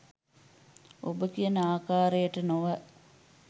ඔබ කියන ආකාරයට නොව